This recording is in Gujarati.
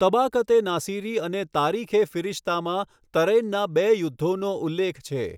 તબાકત એ નાસિરી અને તારીખ એ ફિરિશ્તામાં તરૈનના બે યુદ્ધોનો ઉલ્લેખ છે.